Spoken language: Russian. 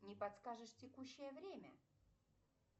не подскажешь текущее время